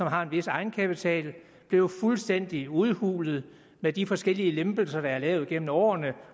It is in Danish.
har en vis egenkapital blev jo fuldstændig udhulet med de forskellige lempelser der er lavet gennem årene